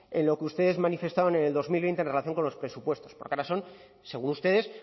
en lo que ustedes manifestaban en el dos mil veinte en relación con los presupuestos porque ahora son según ustedes